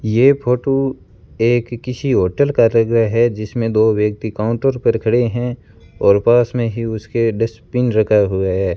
ये फोटो एक किसी होटल का लग रहा है जिसमें दो व्यक्ति काउंटर पर खड़े हैं और पास में ही उसके डस्टबिन रखा हुआ है।